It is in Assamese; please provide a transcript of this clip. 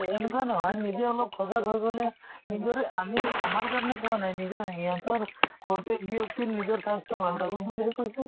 এন্কুৱা নহয় নিজে অলপ সজাগ হৈ গলে নিজৰে আমি আমাৰ কাৰণে কোৱা নাই, নিজৰ হিহঁতৰ প্ৰত্য়েক ব্য়ক্তিৰ নিজৰ স্বাস্থ্য় ভাল থাকক বুলিহে কৈছো।